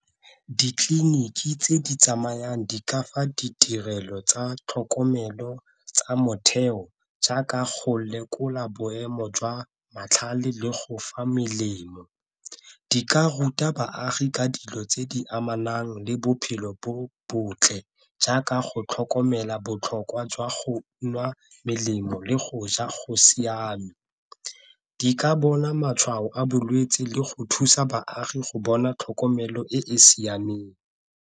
Ditleliniki tse di tsamayang di ka fa ditirelo tsa tlhokomelo tsa motheo jaaka go lekola boemo jwa matlhale le go fa melemo, di ka ruta baagi ka dilo tse di amanang le bophelo bo botle jaaka go tlhokomela botlhokwa jwa go nwa melemo le go ja go siame. Di ka bona matshwao a bolwetse le go thusa baagi go bona tlhokomelo e e siameng.